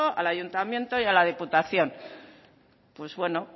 al ayuntamiento y a la diputación pues bueno